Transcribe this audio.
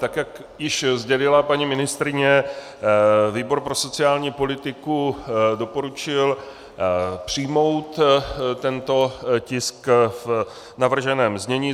Tak jak již sdělila paní ministryně, výbor pro sociální politiku doporučil přijmout tento tisk v navrženém znění.